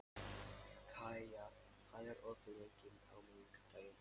Kaía, hvað er opið lengi á miðvikudaginn?